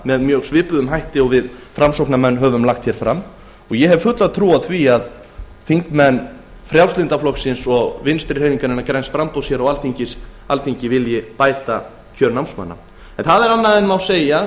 þeirra á svipaðan hátt og við framsóknarmenn höfum lagt hér fram og ég hef fulla trú á að þingmenn frjálslynda flokksins og vinstri hreyfingarinnar græns framboðs vilji bæta kjör námsmanna það er annað en segja má